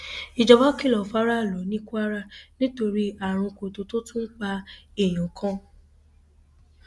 ìjọba kìlọ fáráàlú ní kwara nítorí àrùn kóńtó tó tún pa èèyàn kan